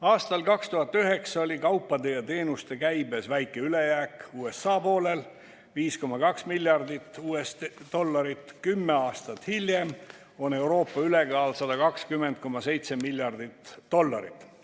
Aastal 2009 oli kaupade ja teenuste käibes väike ülejääk USA poolel , 10 aastat hiljem on Euroopa ülekaal 120,7 miljardit dollarit.